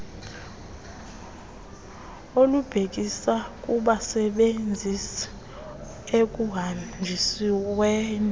olubhekisa kubasebenzisi ekuhanjisweni